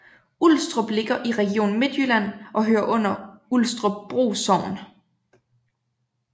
Ulstrup ligger i Region Midtjylland og hører til Ulstrupbro Sogn